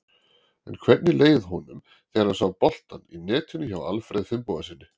En hvernig leið honum þegar hann sá boltann í netinu hjá Alfreð Finnbogasyni?